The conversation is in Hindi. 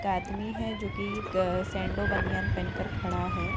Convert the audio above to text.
एक आदमी है जो कि ग सैंडो बनियान पहन कर खड़ा है।